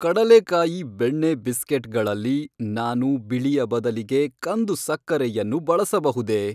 ಕಡಲೆಕಾಯಿ ಬೆಣ್ಣೆ ಬಿಸ್ಕೆಟ್ಗಳಲ್ಲಿ ನಾನು ಬಿಳಿಯ ಬದಲಿಗೆ ಕಂದು ಸಕ್ಕರೆಯನ್ನು ಬಳಸಬಹುದೇ?